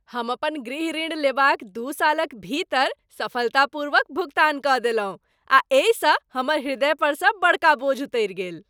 हम अपन गृह ऋण लेबाक दू सालक भीतर सफलतापूर्वक भुगतान कऽ देलहुँ आ एहिसँ हमर हृदय परसँ बड़का बोझ उतरि गेल।